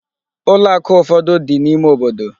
Ụlọ akụ ụfọdụ dị n'ime obodo.